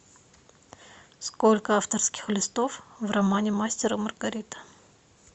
сколько авторских листов в романе мастер и маргарита